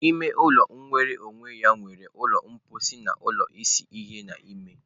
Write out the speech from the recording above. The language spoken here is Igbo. Ime ụlọ nwere onwe ya nwere ụlọ mposi na ụlọ ịsa ahụ n'ime.